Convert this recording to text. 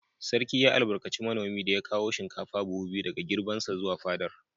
Sarki ya albarkaci manomin da ya kawo shinkafa buhu biyu daga girbinsa zuwa fadar.